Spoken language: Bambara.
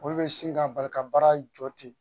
Olu bɛ sin ka bali ka baara jɔ ten